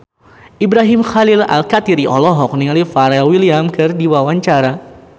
Ibrahim Khalil Alkatiri olohok ningali Pharrell Williams keur diwawancara